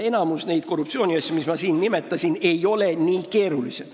Enamik neid korruptsiooniasju, mis ma siin nimetasin, ei ole nii keerulised.